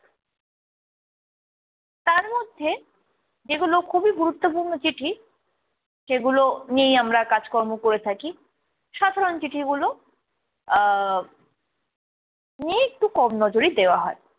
তার মধ্যে যেগুলো খুবই গুরুত্বপূর্ণ চিঠি সেগুলো নিয়েই আমরা কাজ কর্ম করে থাকি, সাধারণ চিঠিগুলো আহ নিয়ে একটু কম নজরই দেওয়া হয়।